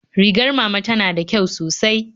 Rigar mama ta tana da kyau sosai